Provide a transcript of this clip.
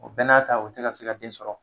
O danaya ta o tɛ na se ka den sɔrɔ.